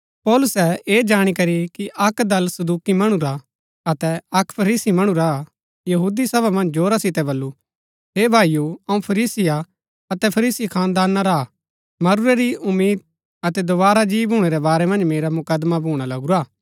पौलुसै ऐह जाणी करी कि अक्क दल सदूकि मणु रा अतै अक्क फरीसी मणु रा हा सभा मन्ज जोरा सितै बल्लू हे भाईओ अऊँ फरीसी हा अतै फरीसी खानदाना रा हा मरूरै री उम्मीद अतै दोवारा जी भूणै रै बारै मन्ज मेरा मुकदमा भूणा लगुरा हा